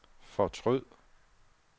fortryd